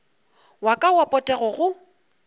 wa ka wa potego go